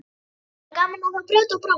Hafa bara gaman af að brjóta og bramla.